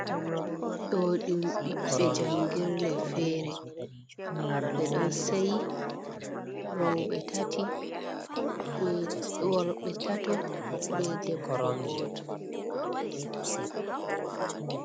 Ɗo ɗum ɓiɓɓe njangirɗe fere ɓeɗon seyi worɓe tato be debbo goto.